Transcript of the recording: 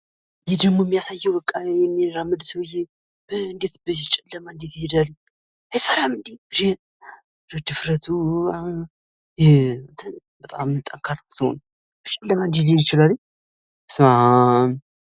ይህ ደሞ የሚያሳዬው የሚራመድ ሰውዬ እንዴት በዚህ ጨለማ እንዴት ይሄዳል አይፈራምዴ ድፍረቱበጣም ጠንካራ ሰው ነው በስማም።